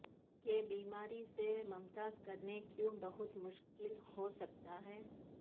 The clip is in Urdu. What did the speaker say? کہ بیماری سے ممتاز کرنے کیوں بہت مشکل ہو سکتا ہے